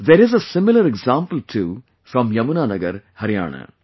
There is a similar example too from Yamuna Nagar, Haryana